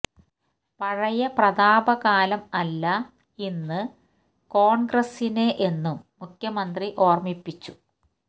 പഴയ പ്രതാപ കാലം അല്ല ഇന്ന് കോണ്ഗ്രസിന് എന്നും മുഖ്യമന്ത്രി ഓര്മിപ്പിച്ചു